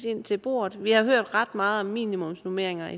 ind til bordet vi har hørt ret meget om minimumsnormeringer